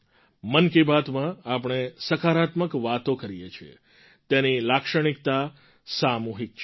મન કી બાતમાં આપણે સકારાત્મક વાતો કરીએ છીએ તેની લાક્ષણિકતા સામૂહિક છે